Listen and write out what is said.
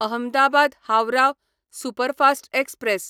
Ahmedabad Howrah superfast express